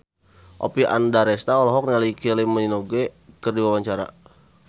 Oppie Andaresta olohok ningali Kylie Minogue keur diwawancara